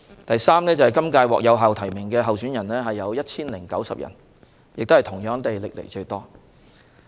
第三，今屆獲有效提名的候選人達 1,090 人，同樣是歷來最多。